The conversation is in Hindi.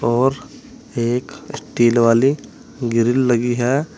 और एक स्टील वाली ग्रिल लगी है।